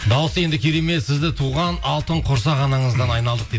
дауысы енді керемет сізді туған алтын құрсақ анаңыздан айналдық дейді